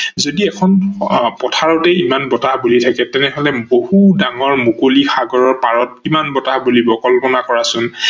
যদি এখন পথাৰতে ইমান বতাহ বলি থাকে তেনেহলে বহু ডঙৰ মুকলি সাগৰৰ পাৰত কিমান বতাহ বলিব কল্পনা কৰা চোন